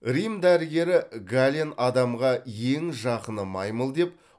рим дәрігері гален адамға ең жақыны маймыл деп